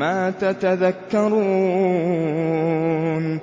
مَّا تَتَذَكَّرُونَ